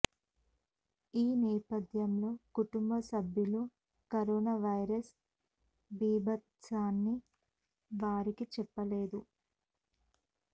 ఈ నేపథ్యంలో కుటుంబ సభ్యులు కరోనా వైరస్ బీభత్సాన్ని వారికి చెప్పలేదు